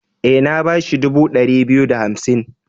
E, na ba shi dubu ɗari biyu da hansim.